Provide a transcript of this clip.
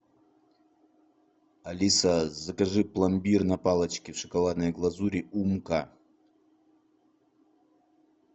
алиса закажи пломбир на палочке в шоколадной глазури умка